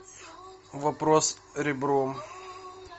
вопрос ребром